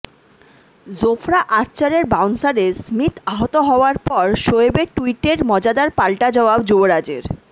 জোফরা আর্চারের বাউন্সারে স্মিথ আহত হওয়ার পর শোয়েবের ট্যুইটের মজাদার পাল্টা জবাব যুবরাজের